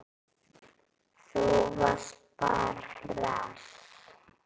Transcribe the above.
Þú varst bara hress.